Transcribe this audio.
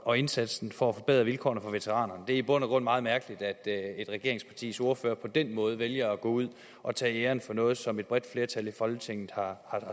og indsatsen for at forbedre vilkårene for veteranerne det er i bund og grund meget mærkeligt at et regeringspartis ordfører på den måde vælger at gå ud og tage æren for noget som et bredt flertal i folketinget har